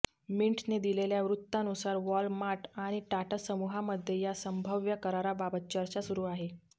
मिंटने दिलेल्या वृत्तानुसार वॉलमार्ट आणि टाटा समूहामध्ये या संभाव्य कराराबाबत चर्चा सुरू आहे